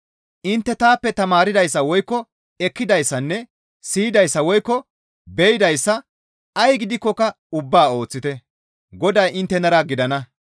Intte taappe tamaardayssa woykko ekkidayssanne siyidayssa woykko be7idayssa ay gidikkoka ubbaa ooththite; Goday inttenara gidana.